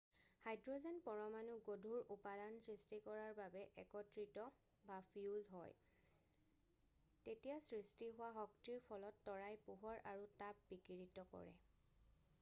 Hydrogen পৰমাণুক গধুৰ উপাদান সৃষ্টি কৰাৰ বাবে একত্ৰিত বা ফিউজ হয় তেতিয়া সৃষ্টি হোৱা শক্তিৰ ফলত তৰাই পোহৰ আৰু তাপ বিকিৰিত কৰে।